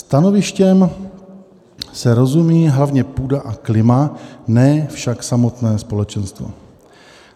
Stanovištěm se rozumí hlavně půda a klima, ne však samotné společenstvo.